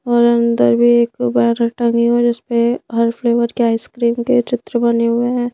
और अंदर भी एक बैनर टंगे जिस पे हर फ्लेवर के आइसक्रीम के चित्र बने हुए हैं।